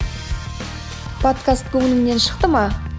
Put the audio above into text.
подкаст көңіліңнен шықты ма